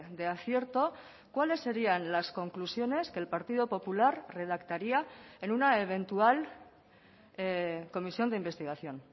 de acierto cuáles serían las conclusiones que el partido popular redactaría en una eventual comisión de investigación